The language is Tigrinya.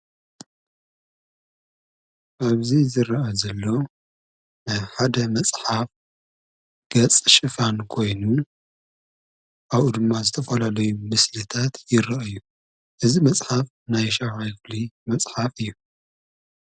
ኣብዚ ዝረአ ዘሎ ኣብ ሓደ መጽሓፍ ገፅ ሽፋን ኮይኑ ኣብኡ ድማ ዝተፈላለዩ ምስልታት ይረአዩ፡፡ እዚ መጽሓፍ ናይ ሻውዓይ ክፍሊ መጽሓፍ እዩ፡፡